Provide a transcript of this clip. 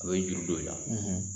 A bɛ juru don i la.